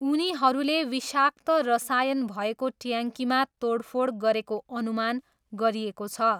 उनीहरूले विषाक्त रसायन भएको ट्याङ्कीमा तोडफोड गरेको अनुमान गरिएको छ।